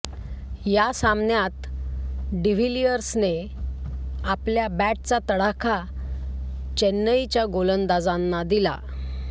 या सामन्यात डिव्हिलिअर्सने आपल्या बॅटचा तडाखा चेन्नईच्या गोलंदाजांना दिला